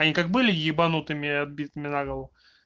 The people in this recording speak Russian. они как были ебанутыми отбитыми на голову